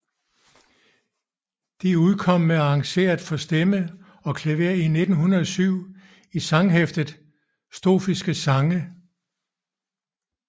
De udkom med arrangeret for stemme og klaver i 1907 i sanghæftet Strofiske Sange